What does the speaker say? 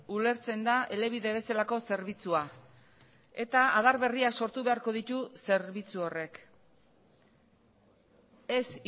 ulertzen da elebide bezalako zerbitzua eta adar berriak sortu beharko ditu zerbitzu horrek ez